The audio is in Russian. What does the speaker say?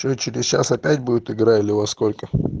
что через час опять будет игра или во сколько